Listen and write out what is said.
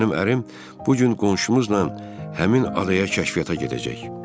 Mənim ərim bu gün qonşumuzla həmin adaya kəşfiyyata gedəcək.